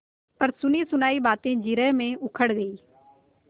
पर सुनीसुनायी बातें जिरह में उखड़ गयीं